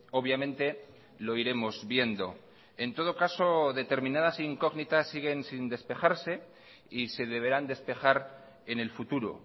obviamente lo iremos viendo en todo caso determinadas incógnitas siguen sin despejarse y se deberán despejar en el futuro